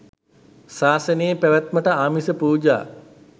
සාසනයේ පැවැත්මට ආමිස පූජා